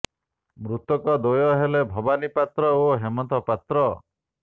ମୃତକ ଦ୍ୱୟ ହେଲେ ଭବାନି ପାତ୍ର ଓ ହେମନ୍ତ ପାତ୍ର